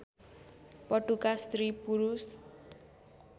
पटुका स्त्री पुरुष